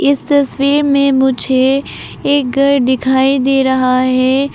इस तस्वीर में मुझे एक घर दिखाई दे रहा है।